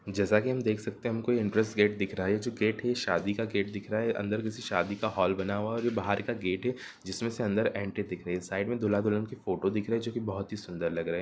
जैसा कि हम देख सकते हैं हमको एंट्रेंस गेट दिख रहा है| यह जो गेट है शादी का गेट दिख रहा है| अंदर किसी शादी का होल बना हुआ है और यह बाहर का गेट है जिसमें से अंदर एंट्री दिख रही है | साइड में दूल्हा-दुल्हन की फोटो दिख रही है जो की बहुत ही सुंदर लग रहे--